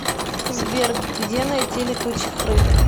сбер где найти летучих рыб